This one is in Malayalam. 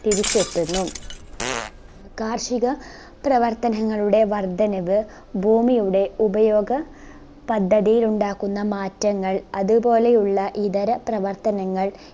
തിരിച്ചെത്തുന്നു ആഹ് കാർഷിക പ്രവർത്തനങ്ങളുടെ വർധനവ് ഭൂമിയുടെ ഉപയോഗ പദ്ധതിയിൽ ഉണ്ടാക്കുന്ന മാറ്റങ്ങൾ അതുപോലെയുള്ള ഇതര പ്രവർത്തനങ്ങൾ